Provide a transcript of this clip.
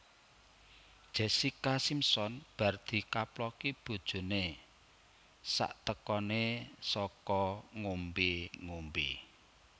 Jessica Simpson bar dikaploki bojone saktekone saka ngombe ngombe